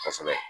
Kosɛbɛ